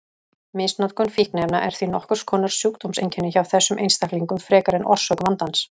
Misnotkun fíkniefna er því nokkurs konar sjúkdómseinkenni hjá þessum einstaklingum frekar en orsök vandans.